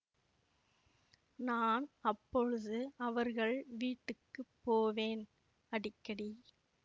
நான் அப்பொழுது அவர்கள் வீட்டுக்கு போவேன் அடிக்கடி